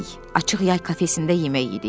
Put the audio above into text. Açıq yay kafesində yemək yedik.